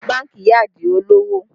Bánkì yá Adio lowo